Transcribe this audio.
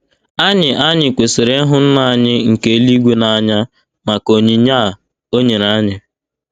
Anyị Anyị kwesịrị ịhụ Nna anyị nke eluigwe n’anya maka onyinye a o nyere anyị.